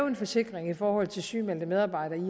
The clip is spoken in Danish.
en forsikring i forhold til sygemeldte medarbejdere i